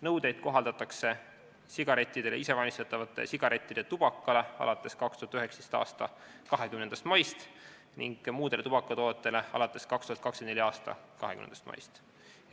Nõudeid kohaldatakse sigarettidele ja isevalmistatavate sigarettide tubakale alates 2019. aasta 20. maist ning muudele tubakatoodetele alates 2024. aasta 20. maist.